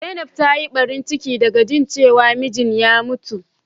Zainab ta yi Barin cike da ga jin cewa mijin ya ya mutu.